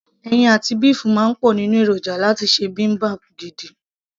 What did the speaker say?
ẹyin àti béèfù máa ń wà nínú èròjà láti ṣe bibimbap gidi